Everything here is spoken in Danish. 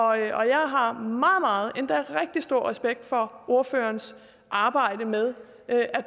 og jeg har meget meget endda rigtig stor respekt for ordførerens arbejde med at